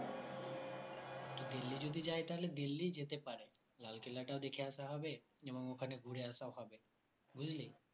তো দিল্লী যদি যায় তাহলে দিল্লীই যেতে পারে লালকেল্লা টাও দেখে আসা হবে এবং ওখানে ঘুরে আসাও হবে বুঝলি